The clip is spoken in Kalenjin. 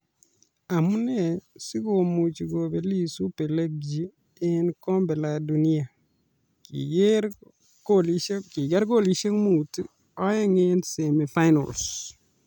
Amunee si komuchi kobelis Ubelgiji eng Kombe la Dunia ? kiker kolisiek muut, oeng eng semi-finals